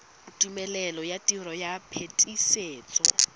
tumelelo ya tiro ya phetisetso